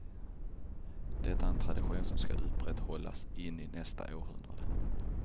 Detta är en tradition som skall upprätthållas in i nästa århundrade.